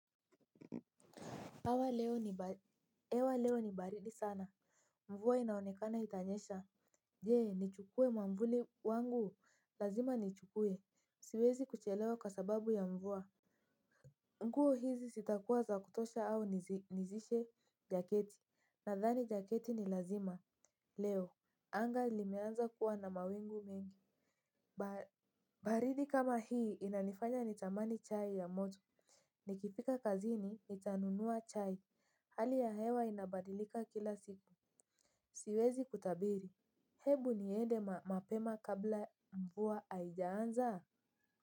Hewa leo ni baridi sana. Mvua inaonekana itanyesha. Je, nichukue mwavuli wangu. Lazima ni chukue. Siwezi kuchelewa kwa sababu ya mvua. Nguo hizi zitakuwa za kutosha au nizidishe jaketi? Nadhani jaketi ni lazima. Leo. Anga limeanza kuwa na mawingu mingi. Baridi kama hii inanifanya nitamani chai ya moto. Nikifika kazini, nitanunua chai. Hali ya hewa inabadilika kila siku. Siwezi kutabiri hebu niende mapema kabla mvua haijaanza.